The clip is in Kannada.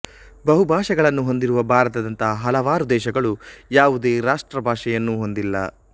ಬಹುಭಾಷೆಗಳನ್ನು ಹೊಂದಿರುವ ಭಾರತದಂತಹ ಹಲವಾರು ದೇಶಗಳು ಯಾವುದೇ ರಾಷ್ಟ್ರಭಾಷೆಯನ್ನೂ ಹೊಂದಿಲ್ಲ